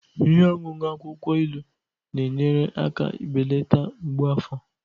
Ihe ọṅụṅụ akwukwo ilu na-enyere aka belata mgbu afọ